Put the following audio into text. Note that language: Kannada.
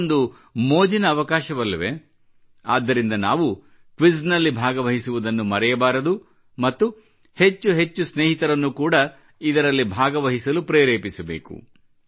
ಇದು ಒಂದು ಮೋಜಿನ ಅವಕಾಶವಲ್ಲವೇ ಆದ್ದರಿಂದ ನಾವು ಕ್ವಿಜ್ ನಲ್ಲಿ ಭಾಗವಹಿಸುವುದನ್ನು ಮರೆಯಬಾರದು ಮತ್ತು ಹೆಚ್ಚು ಹೆಚ್ಚು ಸ್ನೇಹಿತರನ್ನು ಕೂಡ ಇದರಲ್ಲಿ ಭಾಗವಹಿಸಲು ಪ್ರೇರೇಪಿಸಬೇಕು